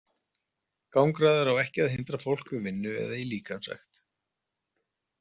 Gangráður á ekki að hindra fólk við vinnu eða í líkamsrækt.